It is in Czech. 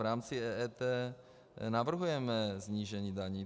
V rámci EET navrhujeme snížení daní.